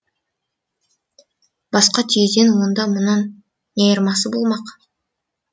басқа түйеден онда мұнын не айырмасы болмақ